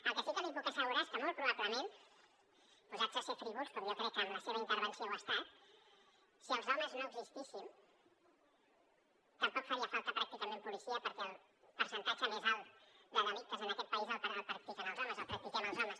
el que sí que li puc assegurar és que molt probablement posats a ser frívols com jo crec que amb la seva intervenció ho ha estat si els homes no existíssim tampoc faria falta pràcticament policia perquè el percentatge més alt de delictes en aquest país el practiquen els homes el practiquem els homes